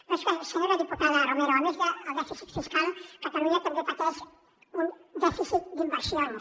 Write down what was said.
però és que senyora diputada romero a més del dèficit fiscal catalunya també pateix un dèficit d’inversions